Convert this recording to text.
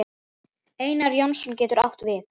Einar Jónsson getur átt við